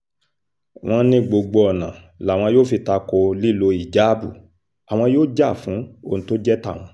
wọ́n ní gbogbo ọ̀nà làwọn yóò fi ta ko lílo híjáàbù àwọn yóò jà fún ohun tó jẹ́ tàwọn